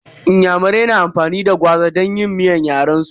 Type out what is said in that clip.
Inyamurai na amfani da gwaza don yin miyar yaren su.